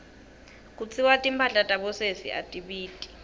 kutsiwa timphahla tabosesi atibiti